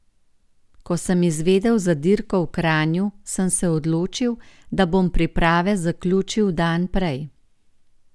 Ko sem izvedel za dirko v Kranju, sem se odločil, da bom priprave zaključil dan prej.